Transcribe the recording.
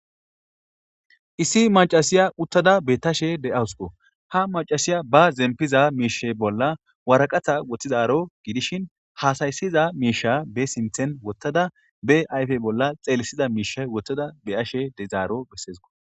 issi macasiya uttada betashe de7awusuko ha macasiya ba zempiza miishe bolla waraqatha woththizaro gidishin haasayssiza miisha be sinthen wottada be ayfe bolla xeelisiza miisha wottada be ashe dezaaro bessesko